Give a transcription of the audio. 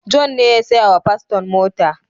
John ne ya saya wa paston mota.